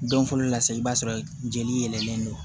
Don fɔlɔ la sa i b'a sɔrɔ jeli yɛlɛlen don